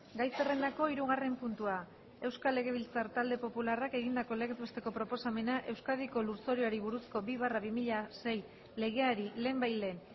gai zerrendako hirugarren puntua euskal legebiltzar talde popularrak egindako legez besteko proposamena euskadiko lurzoruari buruzko bi barra bi mila sei legeari lehenbailehen